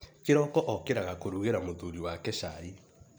Kĩroko okĩraga kũrugĩra mũthuri wake chai.